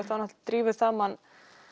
drífur það mann